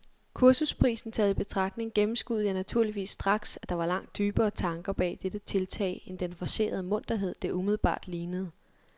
Kursusprisen taget i betragtning gennemskuede jeg naturligvis straks, at der var langt dybere tanker bag dette tiltag end den forcerede munterhed, det umiddelbart lignede.